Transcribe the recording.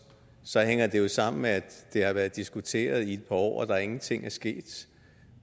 så hænger det jo sammen med at det har været diskuteret i et år og at der ingenting